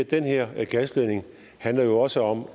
den her gasledning handler jo også om